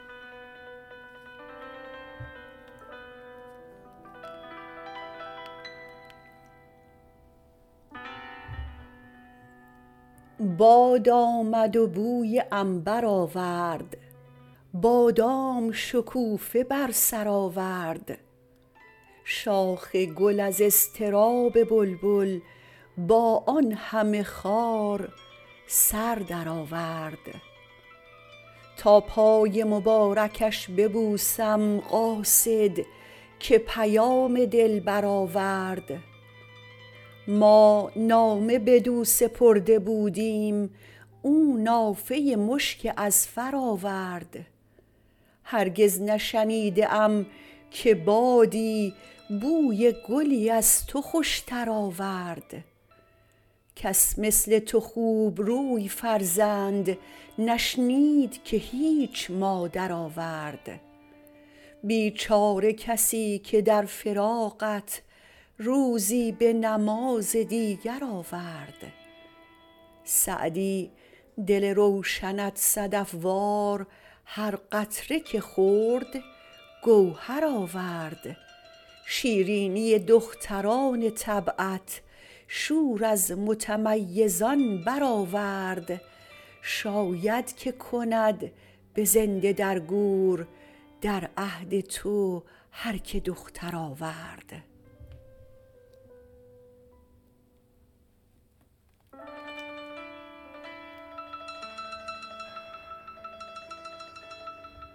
باد آمد و بوی عنبر آورد بادام شکوفه بر سر آورد شاخ گل از اضطراب بلبل با آن همه خار سر درآورد تا پای مبارکش ببوسم قاصد که پیام دلبر آورد ما نامه بدو سپرده بودیم او نافه مشک اذفر آورد هرگز نشنیده ام که بادی بوی گلی از تو خوشتر آورد کس مثل تو خوبروی فرزند نشنید که هیچ مادر آورد بیچاره کسی که در فراقت روزی به نماز دیگر آورد سعدی دل روشنت صدف وار هر قطره که خورد گوهر آورد شیرینی دختران طبعت شور از متمیزان برآورد شاید که کند به زنده در گور در عهد تو هر که دختر آورد